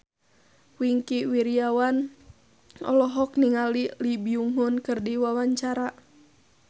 Wingky Wiryawan olohok ningali Lee Byung Hun keur diwawancara